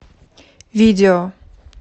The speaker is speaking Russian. видео